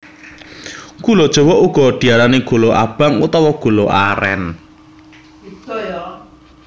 Gula jawa uga diarani gula abang utawa gula arén